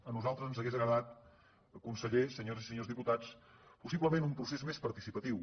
a nosaltres ens hauria agradat conseller senyores i senyors diputats possiblement un procés més parti·cipatiu